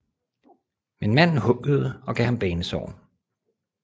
Men manden huggede og gav ham banesår